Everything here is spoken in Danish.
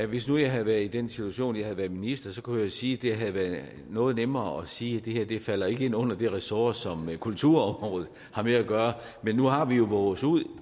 hvis nu jeg havde været i den situation at jeg havde været minister så kunne man jo sige at det havde været noget nemmere at sige at det her ikke falder ind under det ressort som kulturområdet har med at gøre men nu har vi jo vovet os ud